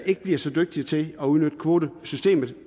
ikke bliver så dygtige til at udnytte kvotesystemet